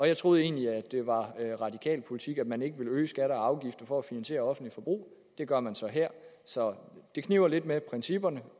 jeg troede egentlig at det var radikal politik at man ikke ville øge skatter og afgifter for at finansiere offentligt forbrug det gør man så her så det kniber lidt med principperne